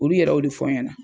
Olu yɛrɛ o de fɔ ɲɛna.